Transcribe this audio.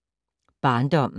Barndommen